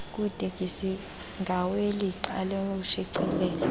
kwitekisi ngawelixa loshicilelo